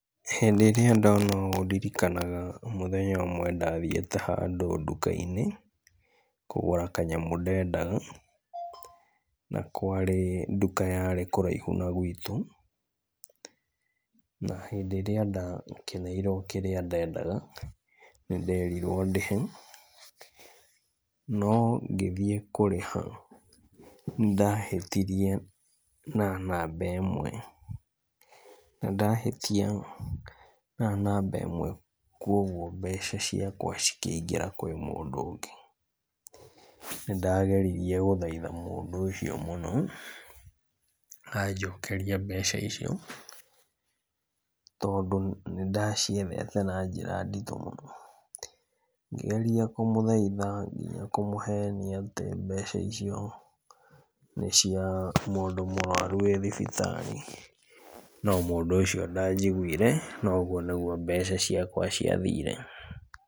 Hĩndĩ rĩrĩa ndona ũũ ndirikanaga mũthenya ũmwe ndathiĩte handũ nduka-inĩ kũgũra kanyamũ ndendaga na kwarĩ nduka yarĩ kũraihu na gwitũ. Na hĩndĩ ĩrĩa ndakĩneirwo kĩrĩa ndendaga, nĩ nderirwo ndĩhe no ngĩthiĩ kũrĩha nĩndahĩtirie na namba ĩmwe, na ndahĩtia na namba ĩmwe kũguo mbeca ciakwa cikĩigĩra harĩ mũndũ ũngĩ. Nĩ ndageririe gũthaitha mũndũ ũcio mũno anjokerie mbeca icio tondũ nĩ ndaciethete na njĩra nditũ mũno. Ngĩgeria kũmũthaitha ngĩgeria kũmũhenia atĩ mbeca icio nĩcia mũndũ mũrũaru wĩ thibitarĩ no mũndũ ũcio ndanjiguire, na ũguo nĩguo mbeca ciakwa ciathire.